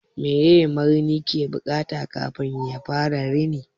Meye marini yake buƙata kafin yafara rini?